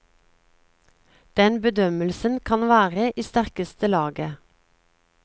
Den bedømmelsen kan være i sterkeste laget.